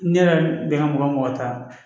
Ne yɛrɛ bɛnna mɔgɔ ta